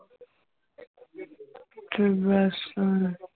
ਤੇ ਬਸ ਹੁਣ